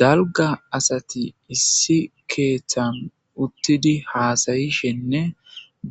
Dalgga assati issi keththan uttidi hasayishenne